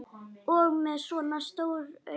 Og með svona stór augu.